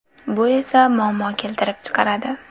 Bu esa muammo keltirib chiqaradi.